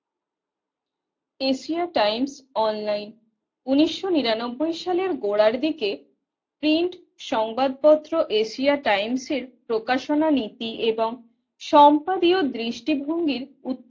Asia Times online উন্নিশশো নিরানব্বই সালের গোড়ার দিকে প্রিন্ট সংবাদপত্র এশিয়া টাইমসের প্রকাশনা নীতি এবং সম্পাদীয় দৃষ্টিভঙ্গির